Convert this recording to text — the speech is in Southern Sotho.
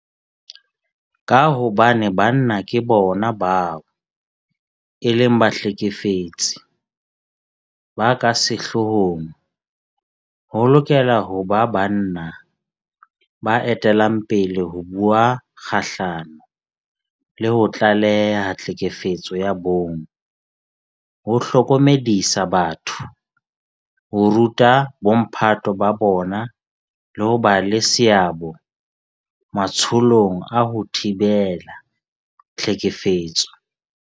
Ka hobane banna ke bona bao e leng bahlekefetsi ba ka sehloohong, ho lokela ho ba banna ba etellang pele ho bua kgahlano le ho tlaleha tlhekefetso ya bong, ho hlokomedisa batho, ho ruta bomphato ba bona le ho ba le seabo matsholong a ho thibela tlhekefetso.